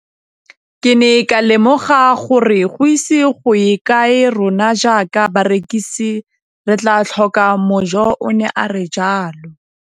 Ke ne ka lemoga gore go ise go ye kae rona jaaka barekise re tla tlhoka mojo, o ne a re jalo.